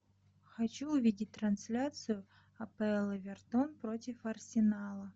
хочу увидеть трансляцию апл эвертон против арсенала